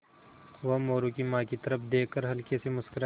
वह मोरू की माँ की तरफ़ देख कर हल्के से मुस्कराये